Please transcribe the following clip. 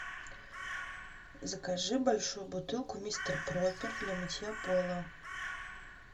закажи большую бутылку мистер пропер для мытья пола